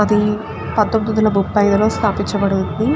అది పంతొమ్మిది వందల ముప్పై లో స్థాపించబడి ఉంది.